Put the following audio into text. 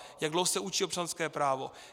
Jak dlouho se učí občanské právo?